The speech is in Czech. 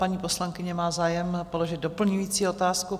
Paní poslankyně má zájem položit doplňující otázku.